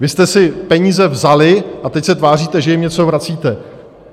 Vy jste si peníze vzali, a teď se tváříte, že jim něco vracíte.